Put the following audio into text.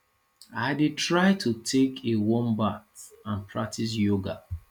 i dey try to take a warm bath and practice yoga